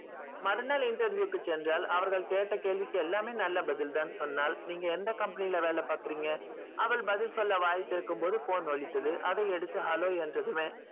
மறுநாள் interview க்கு சென்றால் கேட்ட கேள்விக்கு நல்ல பதில் தான் சொன்னால் நீங்க எந்த company வேலை பார்த்தீங்க அவள் பதில் சொல்ல வாய் திறக்கும் பொது phone ஒலித்தது அதை எடுத்து hello சொன்னதுமே